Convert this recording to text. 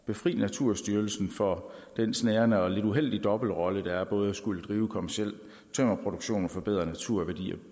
befri naturstyrelsen for den snærende og lidt uheldige dobbeltrolle det er både at skulle drive kommerciel tømmerproduktion og forbedre naturværdier